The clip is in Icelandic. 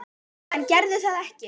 En gerði það ekki.